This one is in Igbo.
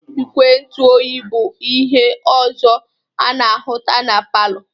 Igwe ntụ oyi bụ ihe ọzọ a na-ahụta na palọ.